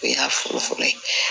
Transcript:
O y'a fɔlɔfɔlɔ ye